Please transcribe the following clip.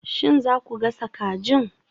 Shin za ku gasa kajin?